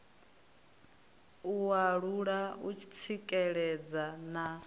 u alula u tsikeledza na